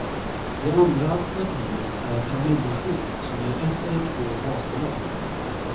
Det andra alternativet är ett familjeskydd som ger ett eller två basbelopp.